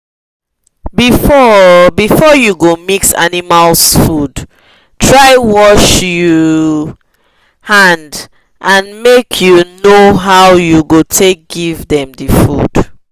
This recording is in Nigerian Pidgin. before before u go mix animals food try wash u hand and make u know how u go take give them the food